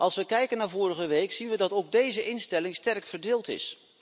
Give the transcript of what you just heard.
Als we kijken naar vorige week zien we dat ook deze instelling sterk verdeeld is.